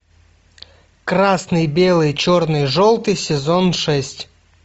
красный белый черный желтый сезон шесть